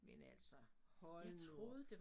Men altså hold nu op